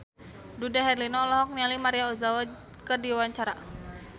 Dude Herlino olohok ningali Maria Ozawa keur diwawancara